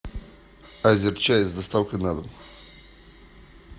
азерчай с доставкой на дом